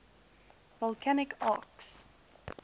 volcanic arcs